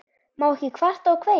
Má ekki kvarta og kveina?